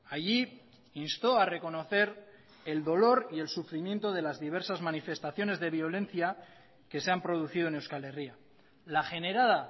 allí instó a reconocer el dolor y el sufrimiento de las diversas manifestaciones de violencia que se han producido en euskal herria la generada